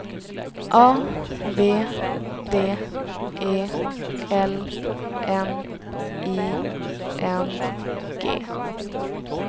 A V D E L N I N G